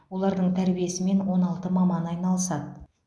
олардың тәрбиесімен он алты маман айналысады